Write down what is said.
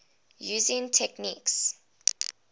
using techniques